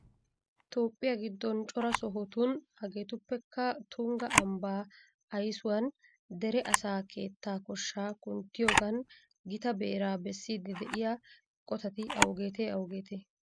Toophphiya giddon cora sohotun hageetuppekka tungga ambbaa aysuwan dere asaa keettaa koshshaa kunttiyogan gita beeraa bessiiddi de'iya eqotati awugeetee awugeetee?